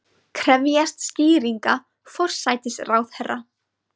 Krefjast skýringa forsætisráðherra